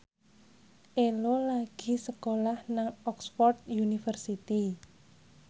Ello lagi sekolah nang Oxford university